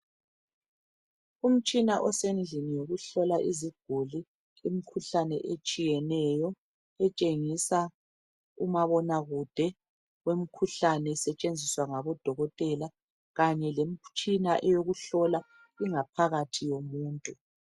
Umtshina osendlini yokuhlola iziguli imikhuhlane etshiyeneyo etshengisa umabona kude wemkhuhlane esetshenziswa ngabodokotela kanye lemitshina yokuhlola ingaphakathi yomuntu.